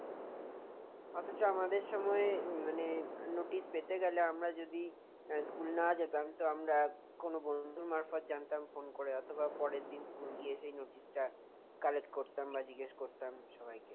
অথচ আমাদের সময় মানে notice পেতে গেলে আমরা যদি, স্কুল না যেতাম, তো আমরা কোন বন্ধুর মারফত জানতাম phone করে, অথবা পরের দিন স্কুল গিয়ে সেই notice টা collect করতাম বা জিজ্ঞেস করতাম সবাইকে।